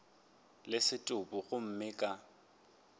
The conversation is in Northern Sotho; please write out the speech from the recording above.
le setopo gomme go ka